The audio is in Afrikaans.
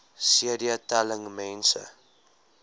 cd telling mense